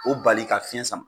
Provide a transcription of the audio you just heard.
O bali ka fiɲɛ sama.